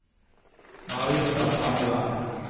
Marita Stangeland